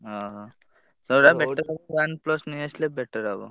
ଓହୋ ସବୁଠାରୁ better OnePlus ନେଇଆସିଲେ better ହବ।